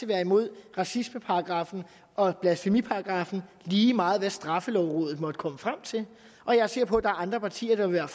være imod racismeparagraffen og blasfemiparagraffen lige meget hvad straffelovrådet måtte komme frem til og jeg er sikker på at der er andre partier der vil